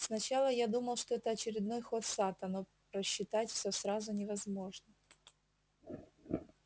сначала я думал что это очередной ход сатта но просчитать все сразу невозможно